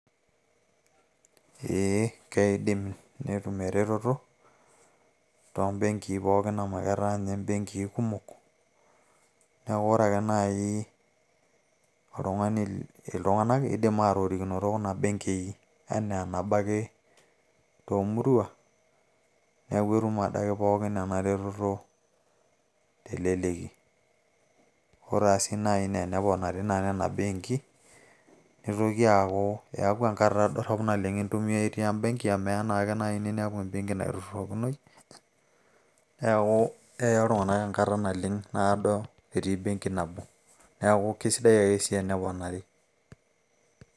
ee, keidim netum eretoto, too benkii pookin amu etaa ninye benkii kumok. neeku ore ake nai iltunganak keidim aatorikinoto kuna benkii, anaa eneba ake toomurua, neeku etum adake pookin ena retoto, teleleki, ore sii naji teneponari nena benki, nitoki aaku eeku ankata dorop oleng intumia itii ebenki, amu eya naake ninepu ebenki naitururokinoi, neeku eya iltung'anak enkata naleng' nado etii ebenki nabo. neeku kesidai ake eneponari.